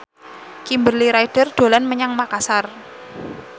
Kimberly Ryder dolan menyang Makasar